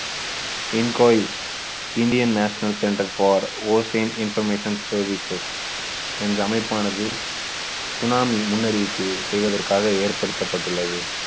incois Indian national center for ocean information services என்ற அமைப்பானது சுனாமி முன்னறிவிப்பு செய்வதற்காக ஏற்படுத்தப்பட்டுள்ளது.